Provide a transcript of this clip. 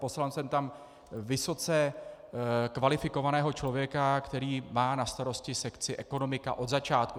Poslal jsem tam vysoce kvalifikovaného člověka, který má na starosti sekci ekonomika od začátku.